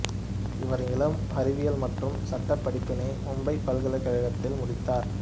இவர் இளம் அறிவியல் மற்றும் சட்டப் படிப்பினை மும்பைப் பல்கலைக்கழகத்தில் முடித்தார்